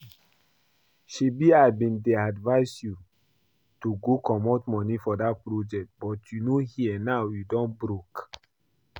Shebi I bin advice you to go comot money for dat project but you no hear now you don broke